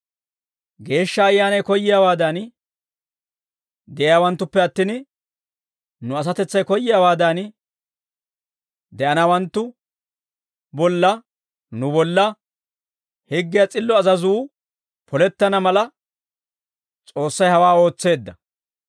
Geeshsha Ayyaanay koyyiyaawaadan de'iyaawanttuppe attin, nu asatetsay koyyiyaawaadan de'anawanttu bolla, nu bolla, higgiyaa s'illo azazuu polettana mala, S'oossay hawaa ootseedda.